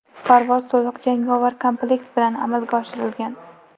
Parvoz to‘liq jangovar komplekt bilan amalga oshirilgan.